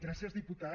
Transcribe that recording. gràcies diputat